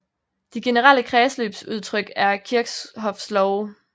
De generelle kredsløbsudtryk er Kirchhoffs love